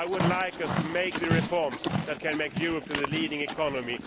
I would like us to make the reforms that will turn Europe into the leading economy.